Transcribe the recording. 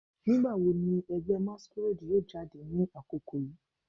Nigbawo ni ẹgbẹ masquerade yoo jade ni akoko yii